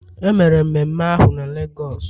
e mere mmeme ahu na Lagos?